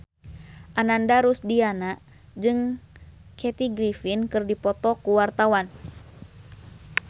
Ananda Rusdiana jeung Kathy Griffin keur dipoto ku wartawan